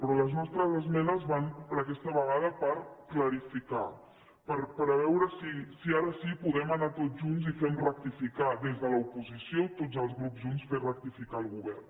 però les nostres esmenes van aquesta vegada per clarificar per veure si ara sí podem anar tots junts i fem rectificar des de l’oposició tots els grups junts fem rectificar el govern